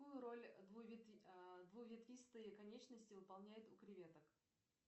какую роль двуветвистые конечности выполняют у креветок